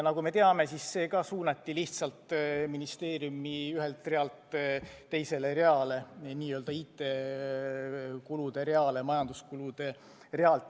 Nagu me teame, seegi suunati lihtsalt ministeeriumi ühelt realt teisele reale, n-ö IT-kulude reale majanduskulude realt.